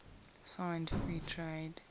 signed free trade